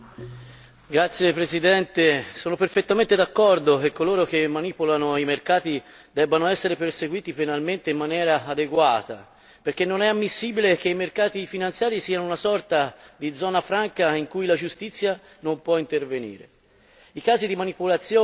Signor Presidente, onorevoli colleghi, sono perfettamente d'accordo che coloro che manipolano i mercati debbano essere perseguiti penalmente in maniera adeguata, perché non è ammissibile che i mercati finanziari siano una sorta di zona franca in cui la giustizia non può intervenire.